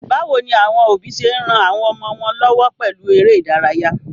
Báwoni àwon òbí se n ran àwon ọmọ wón lọ́wọ́ pèlu eré ìdárayá?